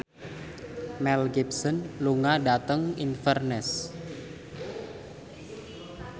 Mel Gibson lunga dhateng Inverness